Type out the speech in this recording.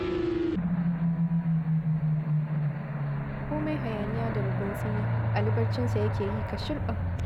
Komai hayaniya da ruguntsumi Ali barcinsa yake yi kashirɓan.